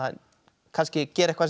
kannski gera eitthvað sem